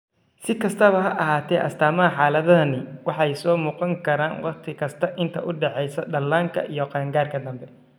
Si kastaba ha ahaatee, astaamaha xaaladdani waxay soo muuqan karaan wakhti kasta inta u dhaxaysa dhallaanka iyo qaangaarka dambe.